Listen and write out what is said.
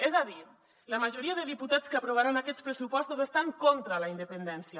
és a dir la majoria de diputats que aprovaran aquests pressupostos estan contra la independència